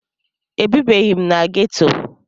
Ebibeghị m na geto.